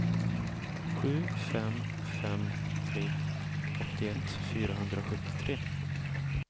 sju fem fem tre åttioett fyrahundrasjuttiotre